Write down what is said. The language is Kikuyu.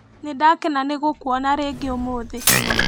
Nĩndakena nĩgũkuona rĩngĩ ũmũthĩ.